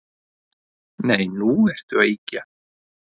Nei, nú ertu að ýkja